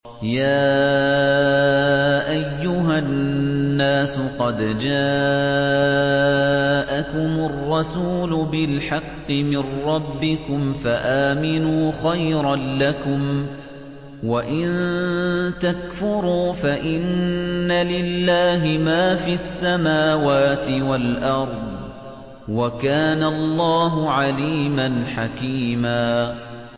يَا أَيُّهَا النَّاسُ قَدْ جَاءَكُمُ الرَّسُولُ بِالْحَقِّ مِن رَّبِّكُمْ فَآمِنُوا خَيْرًا لَّكُمْ ۚ وَإِن تَكْفُرُوا فَإِنَّ لِلَّهِ مَا فِي السَّمَاوَاتِ وَالْأَرْضِ ۚ وَكَانَ اللَّهُ عَلِيمًا حَكِيمًا